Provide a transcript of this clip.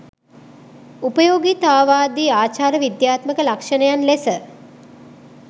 උපයෝගීතාවාදී ආචාර විද්‍යාත්මක ලක්‍ෂණයන් ලෙස